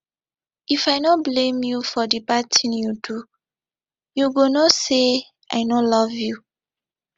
if i no blame you for di bad ting you do you go know say i no love you